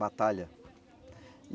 Batalha.